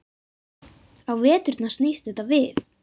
Á veturna snýst þetta við.